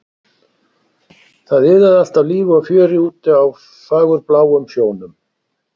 Það iðaði allt af lífi og fjöri úti á fagurbláum sjónum.